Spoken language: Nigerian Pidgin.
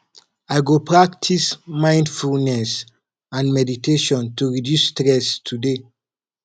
i go practice mindfulness and meditation to reduce stress today